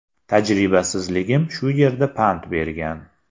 Tajribasizligim shu yerda pand bergan.